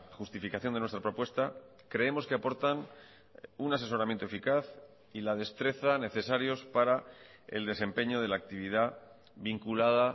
justificación de nuestra propuesta creemos que aportan un asesoramiento eficaz y la destreza necesarios para el desempeño de la actividad vinculada